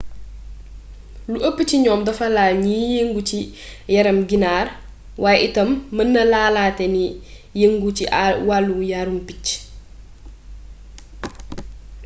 lu ëpp ci ñoom dafa laal ñiy yëngu ci yarum ginaar waaye itam mën na laalaate ñi yëngu ci wàllu yarum picc